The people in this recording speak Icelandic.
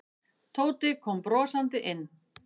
Tóti kom brosandi inn.